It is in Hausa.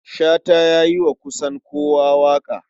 Shata ya yi wa kusan kowa waƙa.